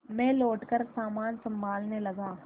मैं लौटकर सामान सँभालने लगा